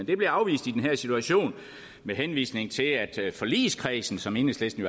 det blev afvist i den her situation med henvisning til at forligskredsen som enhedslisten